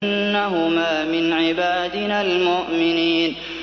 إِنَّهُمَا مِنْ عِبَادِنَا الْمُؤْمِنِينَ